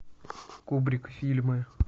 кубрик фильмы